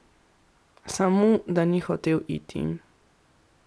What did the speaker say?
Samo, da ni hotel iti.